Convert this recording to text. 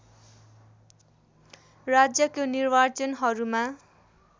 राज्यको निर्वाचनहरूमा